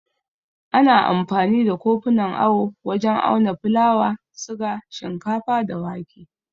Ana amfani da kofunan awo wajen auna fulawa, siga, shinkafa, da wake.